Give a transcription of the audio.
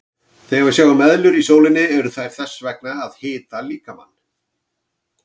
Þegar við sjáum eðlur í sólinni eru þær þess vegna að hita líkamann.